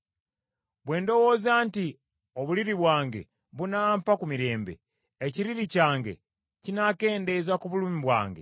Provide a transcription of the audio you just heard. Bwe ndowooza nti, obuliri bwange bunampa ku mirembe, ekiriri kyange kinakendeeza ku kulumwa kwange;